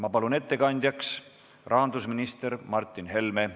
Ma palun ettekandjaks rahandusminister Martin Helme.